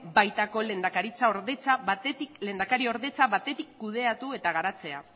baitako lehendakaritzaordetza batetik kudeatu eta garatzea